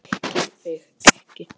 ÉTI ÞIG EKKI!